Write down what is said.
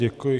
Děkuji.